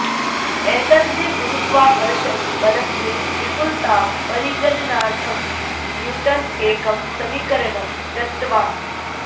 एतस्य गुरुत्वाकर्षण बलस्य विपुलतां परिगणनार्थं न्यूटन् एकं समीकरणं दत्तवान्